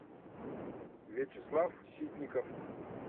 вячеслав ситников